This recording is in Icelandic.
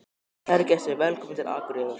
Kæru gestir! Velkomnir til Akureyrar.